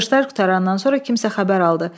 Çıxışlar qurtarandan sonra kimsə xəbər aldı.